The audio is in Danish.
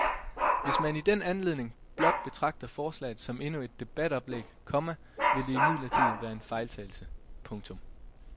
Hvis man i den anledning blot betragter forslaget som endnu et debatoplæg, komma vil det imidlertid være en fejltagelse. punktum